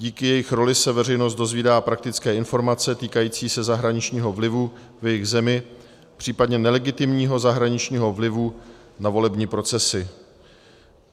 Díky jejich roli se veřejnost dozvídá praktické informace týkající se zahraničního vlivu v jejich zemi, případně nelegitimního zahraničního vlivu na volební procesy.